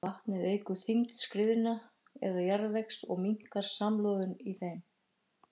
Vatnið eykur þyngd skriðna eða jarðvegs og minnkar samloðunina í þeim.